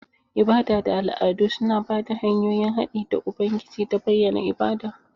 Ibada da al'adu suna ba da hanyoyin haɗi da Ubangiji da bayyana ibada.